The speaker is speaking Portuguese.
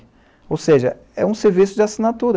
Ou seja, é um serviço de assinatura.